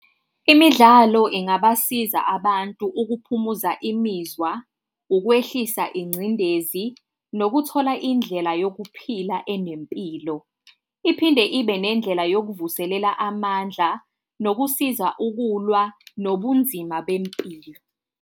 Imidlalo ingabasiza abantu ukukuphumuza imizwa, ukwehlisa ingcindezi nokuthola indlela yokuphila enempilo. Iphinde ibe nendlela yokuvuselela amandla nokusiza ukulwa nobunzima bempilo.